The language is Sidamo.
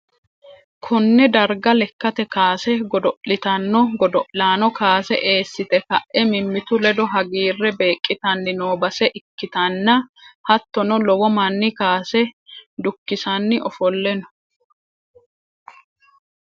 konne darga lekkate kaase godo'litanno godo'lanno kaase eessite ka'e mimmitu ledo hagiirre beeqqitanni noo base ikkitanna, hattono lowo manni kaase dukkisanni ofolle no.